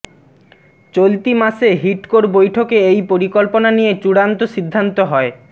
চলতি মাসে হিডকোর বৈঠকে এই পরিকল্পনা নিয়ে চূড়ান্ত সিদ্ধান্ত হয়